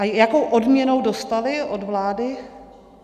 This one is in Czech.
A jakou odměnu dostali od vlády?